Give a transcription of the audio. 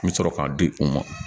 N bɛ sɔrɔ k'a di u ma